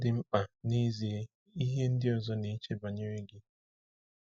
Ọ dị mkpa n’ezie ihe ndị ọzọ na-eche banyere gị?